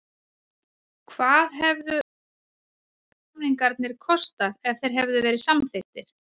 Hvað hefðu Svavars-samningarnir kostað ef þeir hefðu verið samþykktir?